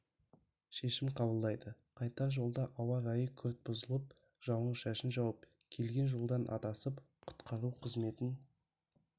шешім қабылдайды қайтар жолда ауа райы күрт бұзылып жауын-шашын жауып келген жолдан адасып құтқару қызметін